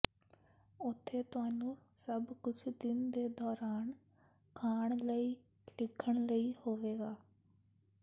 ਉੱਥੇ ਤੁਹਾਨੂੰ ਸਭ ਕੁਝ ਦਿਨ ਦੇ ਦੌਰਾਨ ਖਾਣ ਲਈ ਲਿਖਣ ਲਈ ਹੋਵੇਗਾ